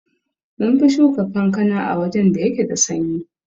Munfi Shuka kankana a wajan da yake da sanyi